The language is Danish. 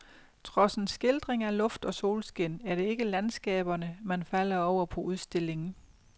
Trods en skildring af luft og solskin er det ikke landskaberne, man falder over på udstillingen.